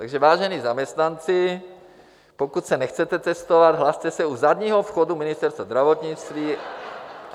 Takže, vážení zaměstnanci, pokud se nechcete testovat, hlaste se u zadního vchodu Ministerstva zdravotnictví.